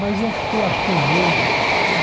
Mas eu fiquei, acho que um mês.